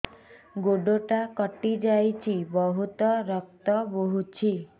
ଗୋଡ଼ଟା କଟି ଯାଇଛି ବହୁତ ରକ୍ତ ବହୁଛି